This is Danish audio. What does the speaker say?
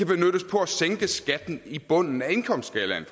benyttes på at sænke skatten i bunden af indkomstskalaen